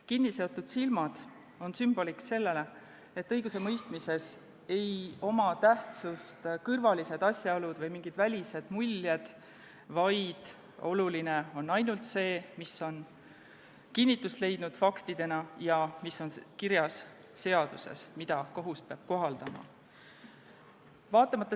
Kinniseotud silmad sümboliseerivad seda, et õigusemõistmises ei ole tähtsust kõrvalistel asjaoludel või mingitel välistel muljetel, vaid oluline on ainult see, mis on kinnitust leidnud faktidena ja mis on kirjas seaduses, mida kohus peab kohaldama.